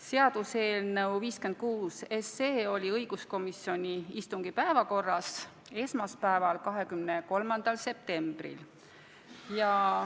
Seaduseelnõu 56 oli õiguskomisjoni istungi päevakorras esmaspäeval, 23. septembril.